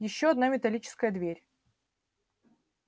ещё одна металлическая дверь